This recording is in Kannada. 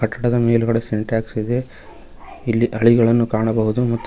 ಆ ಕಟ್ಟಡದ ಮೇಲ್ಗಡೆ ಸಿಂಟೆಕ್ಸ್ ಇದೆ ಇಲ್ಲಿ ಹಳಿಗಳನ್ನು ಕಾಣಬಹುದು ಮತ್ತು--